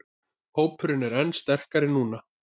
Hópurinn er enn sterkari núna